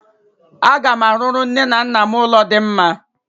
Aga m arụrụ nne na nna m ụlọ dị mma.